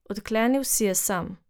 Odklenil si je sam.